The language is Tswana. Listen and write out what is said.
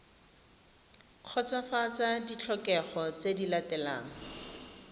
kgotsofatsa ditlhokego tse di latelang